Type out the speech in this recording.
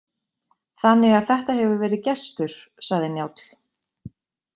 Þannig að þetta hefur verið gestur, sagði Njáll.